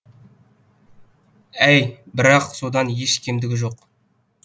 әй бірақ содан еш кемдігі жоқ